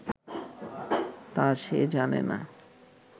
তা সে জানে না